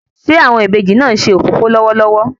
Ṣe awọn ìbejì náà nṣe òfófó lọwọlọwọ?